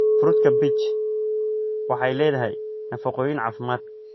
Fruutka peach waxay leedahay nafaqooyin caafimaad.